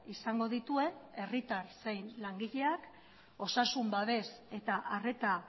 izango dituen herritar zein langileak osasun babes eta arreta